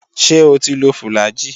Ṣé o ti lo fùlàgi?